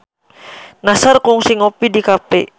Nassar kungsi ngopi di cafe